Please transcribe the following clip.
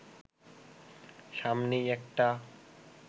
সামনেই একটা